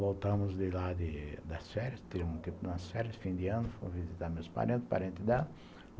Voltamos de lá das férias, tivemos um tempo de férias, fim de ano, fui visitar meus parentes, parentes dela.